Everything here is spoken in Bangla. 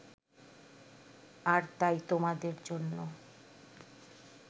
আর তাই তোমাদের জন্য